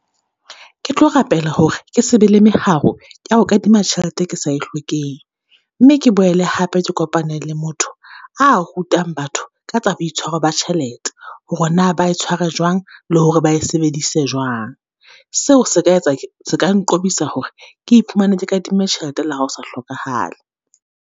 Ke tlo rapela hore ke se be le meharo ya ho kadima tjhelete e ke sa e hlokeheng. Mme ke boele hape ke kopane le motho a rutang batho ka tsa boitshwaro ba tjhelete, hore na ba tshwara jwang, le hore ba e sebedise jwang? Seo se ka etsa , se ka nqobisa hore ke iphumane ke kadimme tjhelete le ha ho sa hlokahale.